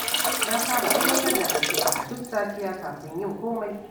Na saba aiwatar da addu'a a duk safiya kafin yin komai.